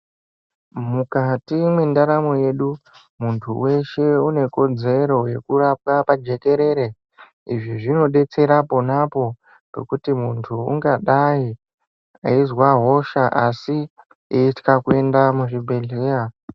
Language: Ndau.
Mukati mendaramo yedu muntu weshe ane kodzero yekurapwa pajekerere izvi zvinodetsera ponapo pekuti muntu ungadai eizwa hosha asi anotya kuenda kuzvibhedhlera.